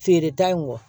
Feereta in kɔ